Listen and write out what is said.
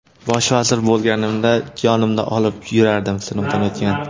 Bosh vazir bo‘lganimda, yonimda olib yurardim, sinovdan o‘tgan.